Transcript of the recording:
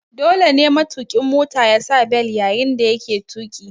Dole ne matuƙin Mota yasa bel yayin da yake tuƙi